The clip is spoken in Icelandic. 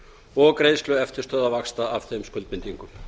og greiðslu eftirstöðva og vaxta af þeim skuldbindingum